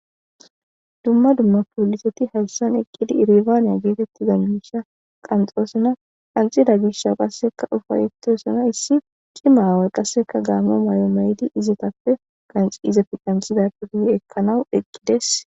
Dumma dumma poliseti haysa eqidi ibabane getitiza misha qanxosona qanxida mishan upayetosona issi c'ima aaway gabe mayo mayidi izi qase qacizappe qac'izappe qanxidappe guye ekawu eqides.